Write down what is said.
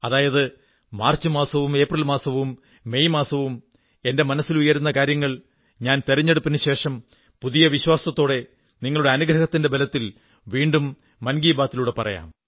അതായത് മാർച്ച് മാസവും ഏപ്രിൽ മാസവും മെയ് മാസവും എന്റെ മനസ്സിലുയരുന്ന കാര്യങ്ങൾ ഞാൻ തിരഞ്ഞെടുപ്പിനു ശേഷം പുതിയ വിശ്വാസത്തോടെ നിങ്ങളുടെ അനുഗ്രഹത്തിന്റെ ബലത്തിൽ വീണ്ടും മൻ കീ ബാത്തിലൂടെ പറയാം